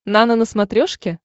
нано на смотрешке